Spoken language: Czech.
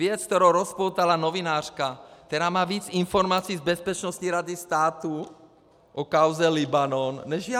Věc, kterou rozpoutala novinářka, která má víc informací z Bezpečnostní rady státu o kauze Libanon než já.